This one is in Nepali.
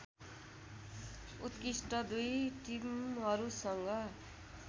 उत्कृष्ट दुई टिमहरूसँग